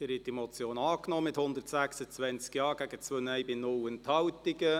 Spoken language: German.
Sie haben diese Motion angenommen, mit 126 Ja- gegen 2 Nein-Stimmen bei 0 Enthaltungen.